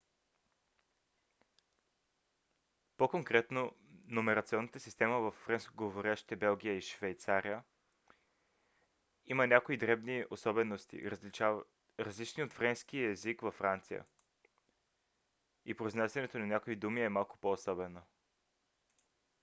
по-конкретно номерационната система във френскоговорящите белгия и швейцария има някои дребни особености различни от френския език във франция и произнасянето на някои думи е малко по-особено